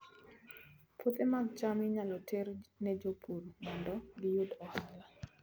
Puothe mag cham inyalo ter ne jopur mondo giyud ohala